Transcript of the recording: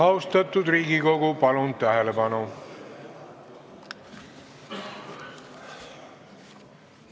Austatud Riigikogu, palun tähelepanu!